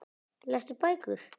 Lestu bækur?